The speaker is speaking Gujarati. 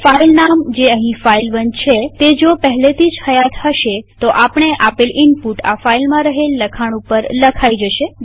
હવે ફાઈલ નામ જે અહીં ફાઇલ1 છે તે જો પહેલેથી હયાત હશે તો આપણે આપેલ ઈનપુટ આ ફાઈલમાં રહેલ લખાણ ઉપર લખાઈ જશે